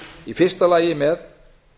í fyrsta lagi með